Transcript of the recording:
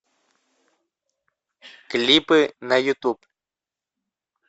клипы на ютуб